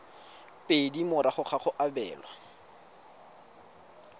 pedi morago ga go abelwa